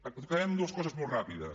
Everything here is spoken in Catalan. acabem amb dues coses molt ràpides